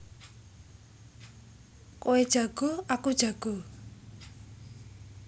Kowe jago aku jago